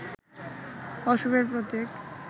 অশুভের প্রতীক